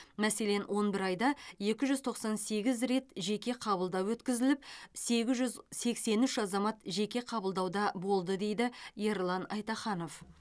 мәселен он бір айда екі жүз тоқсан сегіз рет жеке қабылдау өткізіліп сегіз жүз сексен үш азамат жеке қабылдауда болды дейді ерлан айтаханов